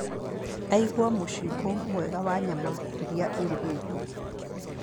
Aiguaga mũcingũ mwega wa nyama irĩa irugĩtwo.